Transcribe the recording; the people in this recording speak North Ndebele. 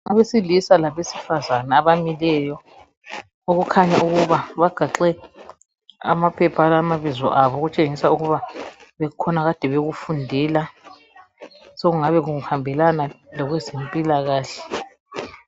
Owesilisa labesifazane abamileyo okukhanya ukuba bagaxe amaphepha alamabizo abo okutshengisa ukuba kukhona akade bekufundela sokungabe kuhambelana labezempilakahle.